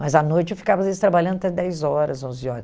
Mas, à noite, eu ficava, às vezes, trabalhando até dez horas, onze